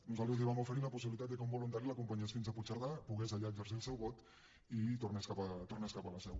nosaltres li vam oferir la possibilitat que un voluntari l’acompa·nyés fins a puigcerdà pogués allà exercir el seu vot i tornés cap a la seu